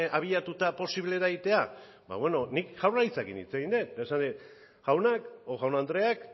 abiatuta posible da egitea nik jaurlaritzarekin hitz egin dut eta esan dit jaun andreak